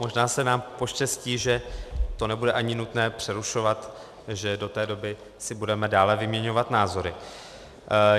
Možná se nám poštěstí, že to nebude ani nutné přerušovat, že do té doby si budeme dále vyměňovat názory.